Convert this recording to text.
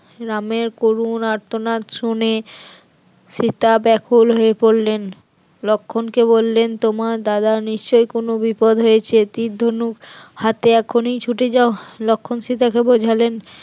রামের করুণ আর্তনাদ শুনে সীতা ব্যাকুল হয়ে পড়লেন, লক্ষণকে বললেন তোমার দাদা নিশ্চয়ই কোন বিপদ হয়েছে, তীর ধনুক হাতে এখনই ছুটে যাও, লক্ষণ সীতা কে বোঝালেন